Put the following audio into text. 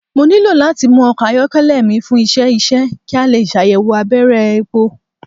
Mo nilo lati mu ọkọ ayọkẹlẹ mi fun iṣẹ iṣẹ ki a le ṣayẹwo abẹrẹ epo